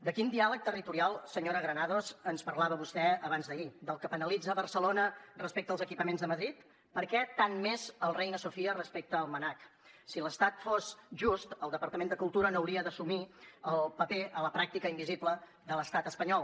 de quin diàleg territorial senyora granados ens parlava vostè abans d’ahir del que penalitza barcelona respecte als equipaments de madrid per què tant més el reina sofia respecte al mnac si l’estat fos just el departament de cultura no hauria d’assumir el paper a la pràctica invisible de l’estat espanyol